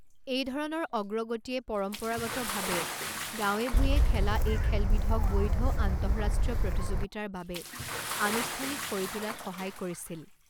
এইধৰণৰ অগ্ৰগতিয়ে পৰম্পৰাগতভাৱে গাঁৱে ভূঞে খেলা এই খেলবিধক বৈধ আন্তঃৰাষ্ট্ৰীয় প্ৰতিযোগিতাৰ বাবে আনুষ্ঠানিক কৰি তোলাত সহায় কৰিছিল।